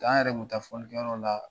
T'an yɛrɛ tun bɛ taa filikɛyɔrɔ la